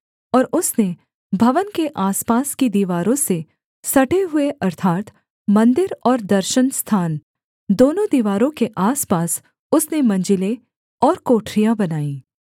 और उसने भवन के आसपास की दीवारों से सटे हुए अर्थात् मन्दिर और दर्शनस्थान दोनों दीवारों के आसपास उसने मंजिलें और कोठरियाँ बनाई